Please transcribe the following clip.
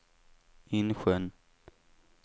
Insjön